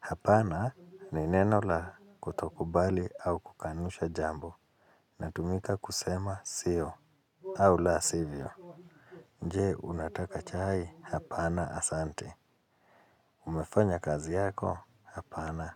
Hapana ni neno la kutokubali au kukanusha jambo. Inatumika kusema siyo au la sivyo. Je, unataka chai? Hapana, asante. Umefanya kazi yako? Hapana.